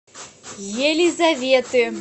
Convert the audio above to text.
елизаветы